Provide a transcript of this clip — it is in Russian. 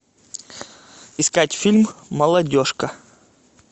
искать фильм молодежка